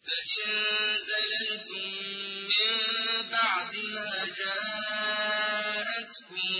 فَإِن زَلَلْتُم مِّن بَعْدِ مَا جَاءَتْكُمُ